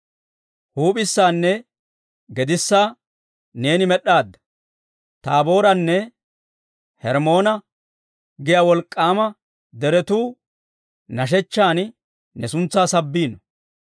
Huup'issaanne gedissaa neeni med'd'aadda; Taabooranne Hermmoone giyaa wolk'k'aama deretuu nashshechchan ne suntsaa sabbiino.